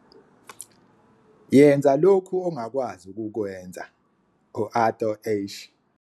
Yenza lokho ongakwazi ukukwenza - u-Arthur Ashe.